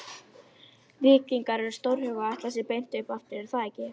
Eitt fyrsta verk Bolsévíka eftir að þeir náðu völdum var að stofna Rauða herinn.